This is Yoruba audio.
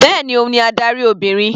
Bẹ́ẹ̀ni, òun ni adarí Obìnrin.